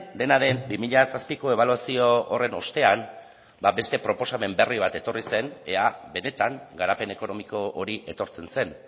dena den bi mila zazpiko ebaluazio horren ostean beste proposamen berri eman etorri zen ea benetan garapen ekonomiko hori etortzen zen